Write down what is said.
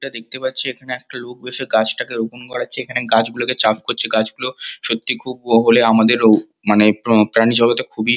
এটা দেখতে পাচ্ছি এখানে একটা লোক বসে গাছটাকে রোপন করাচ্ছে এখানে গাছগুলোকে চাষ করেছে গাছগুলো সত্যি খুবই হলে আমাদের মানে উঃ প প্রাণী জগতে খুবই--